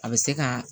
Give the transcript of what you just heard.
A bɛ se ka